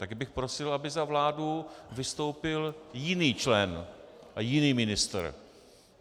Tak bych prosil, by za vládu vystoupil jiný člen a jiný ministr.